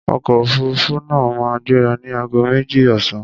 Ọkọ̀ òfuruufú náà máa gbéra ní ago méjì ọ̀sán.